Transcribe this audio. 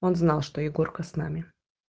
он знал что егорка с нами